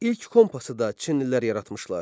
İlk kompas da çinlilər yaratmışlar.